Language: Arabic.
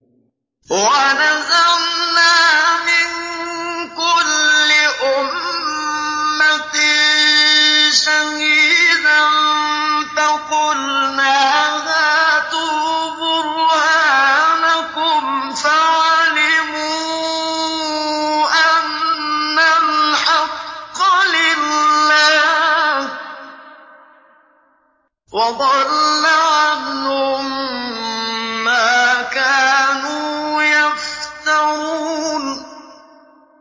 وَنَزَعْنَا مِن كُلِّ أُمَّةٍ شَهِيدًا فَقُلْنَا هَاتُوا بُرْهَانَكُمْ فَعَلِمُوا أَنَّ الْحَقَّ لِلَّهِ وَضَلَّ عَنْهُم مَّا كَانُوا يَفْتَرُونَ